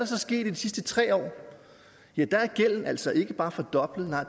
så sket de sidste tre år ja der er gælden altså ikke bare fordoblet nej